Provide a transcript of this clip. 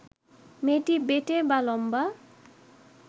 মেয়েটি বেঁটে বা লম্বা